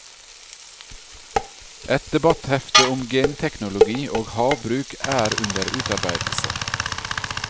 Et debatthefte om genteknologi og havbruk er under utarbeidelse.